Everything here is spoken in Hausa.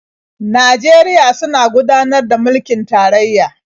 Najeriya suna gudanar da mulkin tarayya.